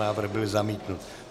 Návrh byl zamítnut.